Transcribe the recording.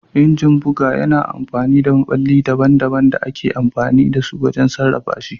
Injin buga yana da maɓalli daban-daban da ake amfani da su wajen sarrafa shi.